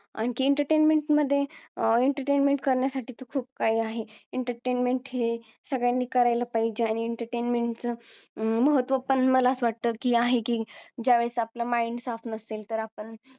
entertainment मध्ये entertainment करण्यासाठी पण खूप आहे entertainment हे सगळ्यांनी करायला पाहिजे आणि entertainment च महत्व पण मला असं वाटत की आहे की ज्या वेळेस आपलं mind साफ नसेल तर आपण